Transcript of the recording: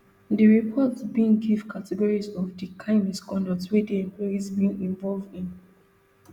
di report bin give categories of di kain misconduct wey di employees bin involve in